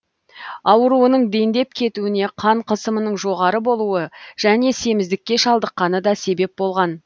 ауруының дендеп кетуіне қан қысымының жоғары болуы және семіздікке шалдыққаны да себеп болған